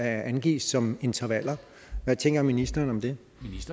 angives som intervaller hvad tænker ministeren om det